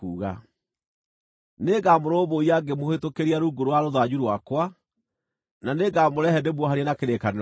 Nĩngamũrũmbũiya ngĩmũhĩtũkĩria rungu rwa rũthanju rwakwa, na nĩngamũrehe ndĩmuohanie na kĩrĩkanĩro gĩakwa.